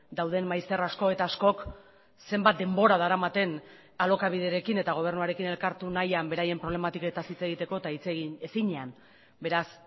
dauden maizter asko eta askok zenbat denbora daramaten alokabiderekin eta gobernuarekin elkartu nahian beraien problematiketaz hitz egiteko eta hitz egin ezinean beraz